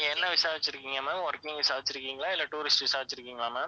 என்ன visa வச்சிருக்கீங்க ma'am working visa வச்சிருக்கீங்களா இல்ல tourist visa ஆ வச்சிருக்கீங்களா ma'am